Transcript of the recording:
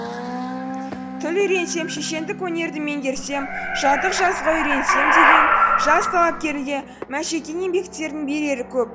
тіл үйренсем шешендік өнерді меңгерсем жатық жазуға үйренсем деген жас талапкерге мәшекең еңбектерінің берері көп